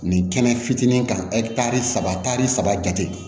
Nin kɛnɛ fitinin kan ɛtari saba tari saba jate